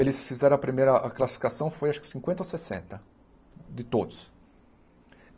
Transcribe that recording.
Eles fizeram a primeira classificação, foi acho que cinquenta ou sessenta, de todos.